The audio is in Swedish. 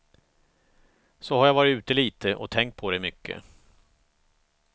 Så har jag varit ute lite, och tänkt på dig mycket.